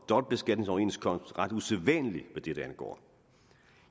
dobbeltbeskatningsoverenskomst ret usædvanlig hvad dette angår